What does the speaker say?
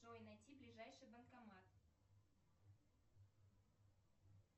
джой найти ближайший банкомат